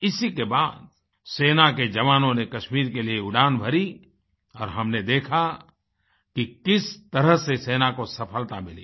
इसी के बाद सेना के जवानों ने कश्मीर के लिए उड़ान भरी और हमने देखा कि किस तरह से सेना को सफलता मिली